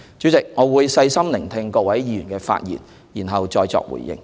主席，我會細心聆聽各位議員的發言，然後再作回應。